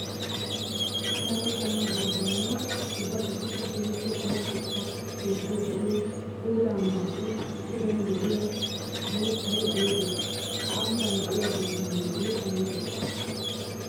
Daro qommo doozayinne ubba qassikka keehippe cora shuchcha keettay de'iyo puulla ambbappe puden de'iya boottay aybbe? Ha ambban de'iya dooza maadoy aybbe?